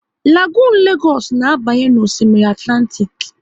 Lagonu Legoosu na abanye n'Osimiri Atlantik